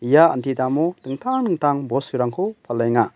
ia anti damo dingtang dingtang bosturangko palenga.